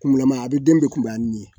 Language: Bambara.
Kuma a den bɛ kunbaya ni nin ye